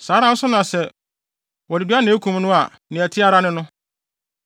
Saa ara nso na sɛ wɔde dua na ekum no a ɛte ara ne no.